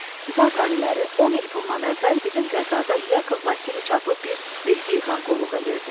Zat əliləri, 10 il bundan əvvəl bizim qəzada Yakıb Vasiliç adlı bir vergi yığan qulluq edirdi.